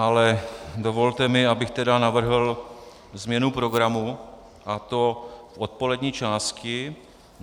Ale dovolte mi, abych tedy navrhl změnu programu, a to odpolední části.